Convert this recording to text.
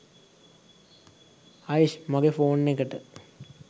අයිෂ් මගේ ෆෝන් එකට